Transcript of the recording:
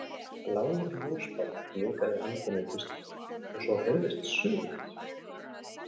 Blár ljósbjarmi blikaði handan við kisturnar og svo heyrðist suð.